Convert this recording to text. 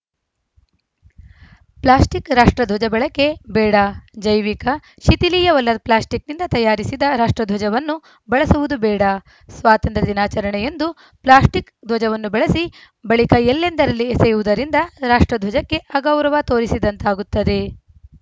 plastic ರಾಷ್ಟ್ರಧ್ವಜ ಬಳಕೆ ಬೇಡ ಜೈವಿಕ ಶಿಥಿಲೀಯವಲ್ಲದ ಪ್ಲಾಸ್ಟಿಕ್‌ನಿಂದ ತಯಾರಿಸಿದ ರಾಷ್ಟ್ರ ಧ್ವಜವನ್ನು ಬಳಸುವುದು ಬೇಡ ಸ್ವಾತಂತ್ರ್ಯ ದಿನಾಚರಣೆಯಂದು ಪ್ಲಾಸ್ಟಿಕ್‌ ಧ್ವಜವನ್ನು ಬಳಸಿ ಬಳಿಕ ಎಲ್ಲೆಂದರಲ್ಲಿ ಎಸೆಯುವುದರಿಂದ ರಾಷ್ಟ್ರಧ್ವಜಕ್ಕೆ ಅಗೌರವ ತೋರಿಸಿದಂತಾಗುತ್ತದೆ